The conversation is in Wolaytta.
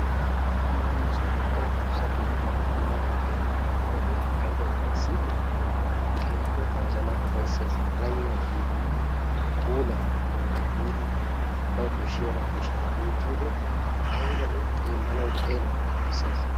Wogga addussa keettay maaran keexxetaaga be'iyoode aybba upayssi! Keehippe ta wozanna upayssees. Qalamiyaa tiyyidi, puula puula tiyyidi bawa koshshiyaaba, koshshiyaaba kunttiyoode aybba lo"i xeellanawu xeellawukka upayssees.